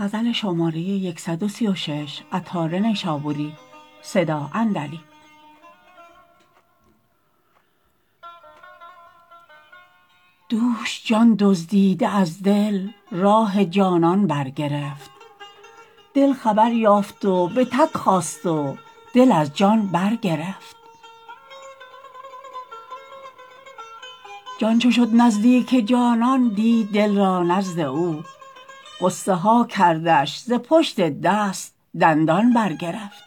دوش جان دزدیده از دل راه جانان برگرفت دل خبر یافت و به تک خاست و دل از جان برگرفت جان چو شد نزدیک جانان دید دل را نزد او غصه ها کردش ز پشت دست دندان برگرفت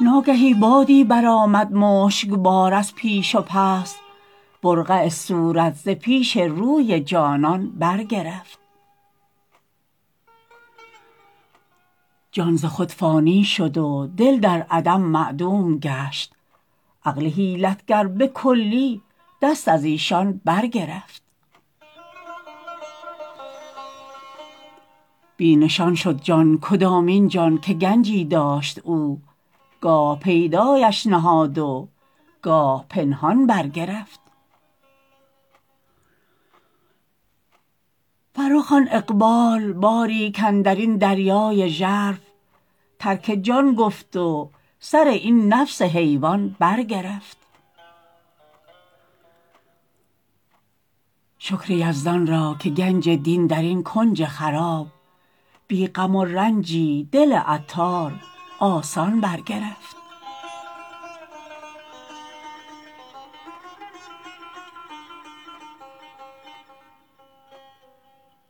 ناگهی بادی برآمد مشکبار از پیش و پس برقع صورت ز پیش روی جانان برگرفت جان ز خود فانی شد و دل در عدم معدوم گشت عقل حیلت گر به کلی دست ازیشان برگرفت بی نشان شد جان کدامین جان که گنجی داشت او گاه پیدایش نهاد و گاه پنهان برگرفت فرخ آن اقبال باری کاندرین دریای ژرف ترک جان گفت و سر این نفس حیوان برگرفت شکر یزدان را که گنج دین درین کنج خراب بی غم و رنجی دل عطار آسان برگرفت